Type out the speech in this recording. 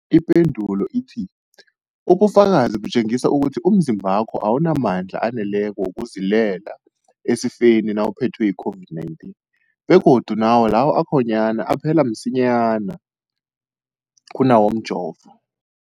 Ipendulo, ubufakazi butjengisa ukuthi umzimbakho awunamandla aneleko wokuzilwela esifeni nawuphethwe yi-COVID-19, begodu nawo lawo akhonyana aphela msinyana kunawomjovo.